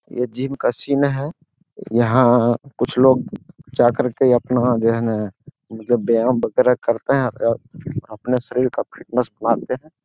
ये जिम का सीन है यहाँ कुछ लोग जाकर के अपना जो है न मतलब व्यायाम वगैरह करते हैं और अपने शरीर का फिटनेस बनाते हैं।